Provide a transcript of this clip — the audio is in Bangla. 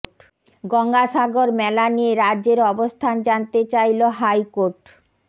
গঙ্গাসাগর মেলা নিয়ে রাজ্যের অবস্থান জানতে চাইল হাই কোর্ট